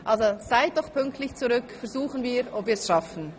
Seien Sie doch pünktlich zurück, versuchen wir, ob wir es schaffen.